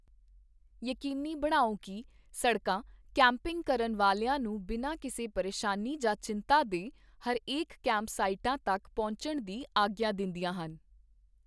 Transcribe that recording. ਯਕੀਨੀ ਬਣਾਓ ਕੀ ਸੜਕਾਂ ਕੈਂਪਿੰਗ ਕਰਨ ਵਾਲਿਆਂ ਨੂੰ ਬਿਨਾਂ ਕਿਸੇ ਪਰੇਸ਼ਾਨੀ ਜਾਂ ਚਿੰਤਾ ਦੇ ਹਰੇਕ ਕੈਂਪਸਾਈਟਾਂ ਤੱਕ ਪਹੁੰਚਣ ਦੀ ਆਗਿਆ ਦਿੰਦੀਆਂ ਹਨ।